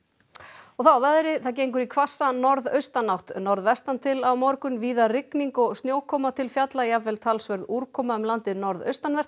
og þá að veðri það gengur í hvassa norðaustanátt norðvestan til á morgun víða rigning og snjókoma til fjalla jafnvel talsverð úrkoma um landið norðaustanvert